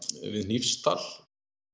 við Hnífsdal